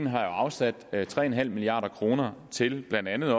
har afsat tre milliard kroner til blandt andet